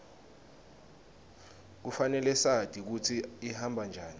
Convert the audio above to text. kufanele sati kutsi ihamba njani